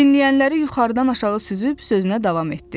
Dinləyənləri yuxarıdan aşağı süzüb sözünə davam etdi.